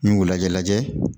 N y'u lajɛ lajɛ